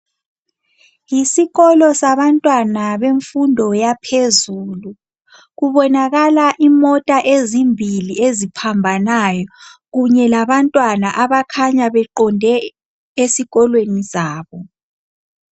Yisikolo sabantwana bemfundo yaphezulu kubonakala imota ezimbili eziphambanayo kunye labantwana abakhanya beqonde ezabo